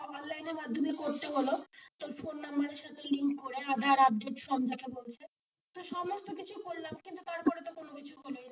অনলাইনে মাধ্যমে করতে হলো তোর ফোন number সাথে লিংক করে আধার আপডেট সব যা যা বলছে কিন্তু তারপর তো কিছুই হলো না,